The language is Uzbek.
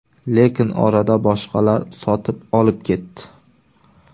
Lekin orada boshqalar sotib olib ketdi.